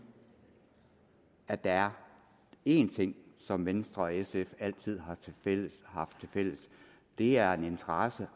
at der er én ting som venstre og sf altid har haft tilfælles og det er en interesse